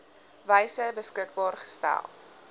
wyse beskikbaar gestel